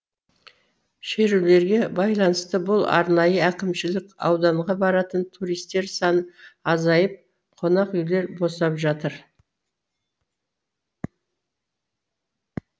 шерулерге байланысты бұл арнайы әкімшілік ауданға баратын туристер саны азайып қонақүйлер босап жатыр